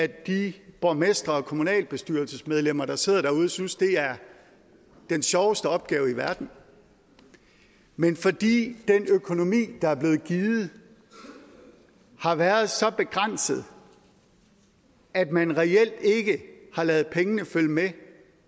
de borgmestre og kommunalbestyrelsesmedlemmer der sidder derude synes det er den sjoveste opgave i verden men fordi den økonomi der er blevet givet har været så begrænset at man reelt ikke har ladet pengene følge med